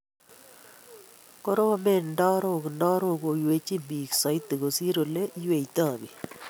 Koromen ndarok, ndarok koywei biik soiti kosir ole iyweito biik